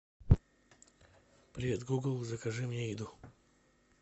привет гугл закажи мне еду